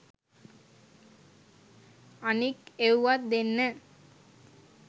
අනික් එව්වත් දෙන්න